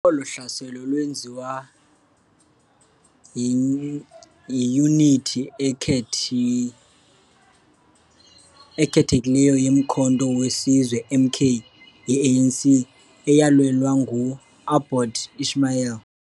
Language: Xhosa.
Olo hlaselo lwenziwa iiyunithi ekhethekileyo ye-Umkhonto we Sizwe, MK, ye-ANC, eyalelwa ngu-Aboobaker Ismail.